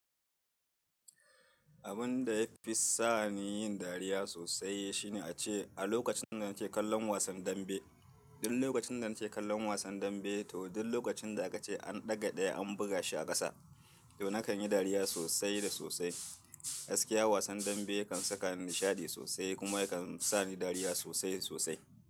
Abun da ya fi sa ni yin dariya sosai shine ace a lokacin da nake kallon wasan dambe. Duk lokacin da nake kallon wasan dambe to duk lokacin da aka ce an ɗaga ɗaya an buga shi a ƙasa to nakan yi dariya sosai da sosai. Gaskiya wasan dambe kan sakani nishaɗi sosai kuma ya kan sa ni dariya sosai sosai.